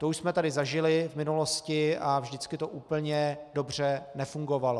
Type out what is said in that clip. To už jsme tady zažili v minulosti a vždycky to úplně dobře nefungovalo.